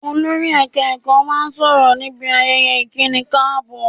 Olórí ẹ̀ka ẹ̀kọ́ máa sọ̀rọ̀ níbi ayẹyẹ ìkíni káàbọ̀